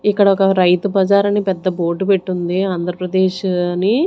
ఇక్కడ ఒక రైతు బజార్ అని పెద్ద బోర్డు పెట్టుంది ఆంధ్రప్రదేశ్ అని.